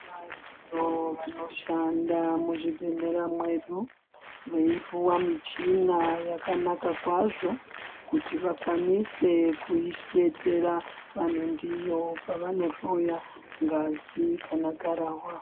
Variyo vanoshanda muzvibhedhlera mwedu veipuwa michina yakanaka kwazvo kuti vakwanise kudetsera vanhu ndiyo pavanohloya ngazi kana gararwa.